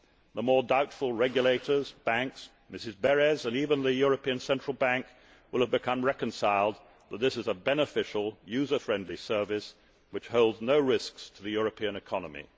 The more doubtful regulators, banks, Mrs Berès and even the European Central Bank will have become reconciled that this is a beneficial, user friendly service which holds no risks to the European economy.